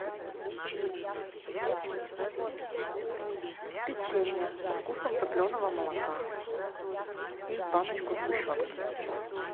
печенье со вкусом топленого молока и баночку сгущенки